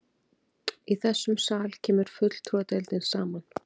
Í þessum sal kemur fulltrúadeildin saman.